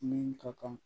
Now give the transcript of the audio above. Min tɔgɔ